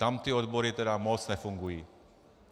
Tam ty odbory tedy moc nefungují.